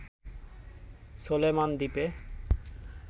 Solomon দ্বীপে